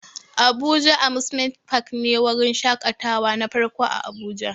Abuja amusement park ne wurin shakatawa na farko a abuja